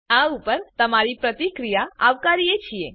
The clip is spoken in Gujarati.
અમે આ ઉપર તમારી પ્રતિક્રિયા આવકારીએ છીએ